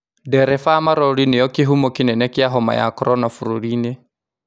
Dereba a malori nĩo kĩhumo kĩnene kĩa homa ya korona bũrũri-inĩ